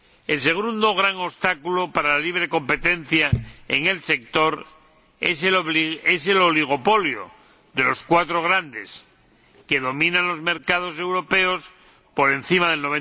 El segundo gran obstáculo para la libre competencia en el sector es el oligopolio de los cuatro grandes, que dominan los mercados europeos por encima del